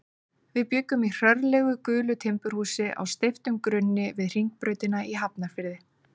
Við bjuggum í hrörlegu gulu timburhúsi á steyptum grunni við Hringbrautina í Hafnarfirði.